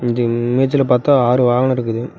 இந்த இமேஜ்ல பாத்தா ஆரு வாகனோ இருக்குது.